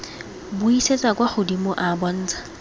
buisetsa kwa godimo a bontsha